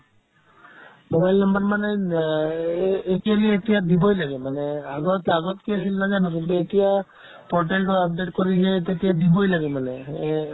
mobile number মানে আ এই actually এতিয়া দিবই লাগে মানে আগত আগত কি আছিল নাজানো কিন্তু এতিয়া portal খন update কৰিহে তেতিয়া দিবই লাগে মানে সেয়ে